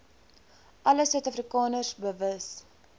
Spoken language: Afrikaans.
alle suidafrikaners bewus